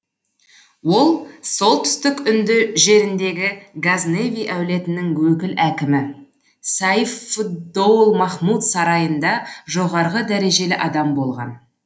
ол солтүстік үнді жеріндегі газневи әулетінің өкіл әкімі сайф фд доул махмұд сарайында жоғарғы дәрежелі адам болған